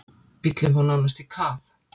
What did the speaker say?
Bíllinn fór nánast í kaf.